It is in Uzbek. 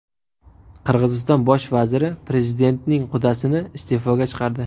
Qirg‘iziston bosh vaziri prezidentning qudasini iste’foga chiqardi.